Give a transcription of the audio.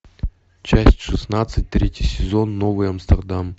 часть шестнадцать третий сезон новый амстердам